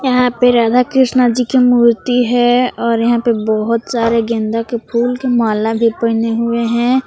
यहां पे राधा कृष्ण जी की मूर्ति है और यहां पे बहोत सारे गेंदा के फूल के माला भी पहनें हुए हैं।